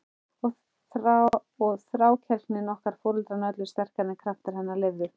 Og þrákelkni okkar foreldranna öllu sterkari en kraftar hennar leyfðu.